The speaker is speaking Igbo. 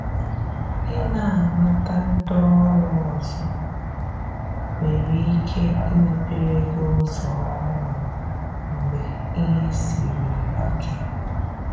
i na amata ndị ọrụ ọzọ nwere ike imepere gi ụzọ ọhụrụ mgbe ìhè sịrị ike